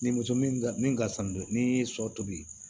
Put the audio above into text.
Ni muso min ka min ka fisa ni so toli